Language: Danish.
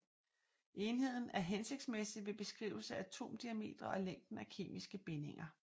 Enheden er hensigtsmæssig ved beskrivelse af atomdiametre og længden af kemiske bindinger